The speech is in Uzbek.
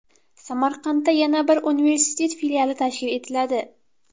Samarqandda yana bir universitet filiali tashkil etiladi.